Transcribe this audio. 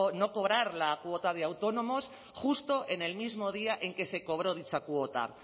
no cobrar la cuota de autónomos justo en el mismo día en que se cobró dicha cuota